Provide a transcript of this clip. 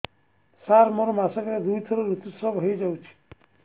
ସାର ମୋର ମାସକରେ ଦୁଇଥର ଋତୁସ୍ରାବ ହୋଇଯାଉଛି